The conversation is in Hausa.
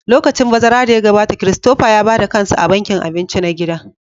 Lokacin bazara da ya gabata, Christopher ya ba da kansa a bankin abinci na gida